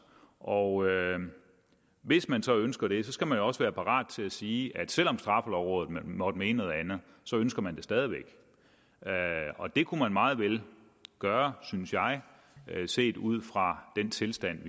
og hvis man så ønsker det skal man jo også være parat til at sige at selv om straffelovrådet måtte mene noget andet så ønsker man det stadig væk og det kunne man meget vel gøre synes jeg set ud fra den tilstand